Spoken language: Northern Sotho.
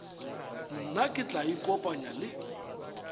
nna ke tla ikopanya le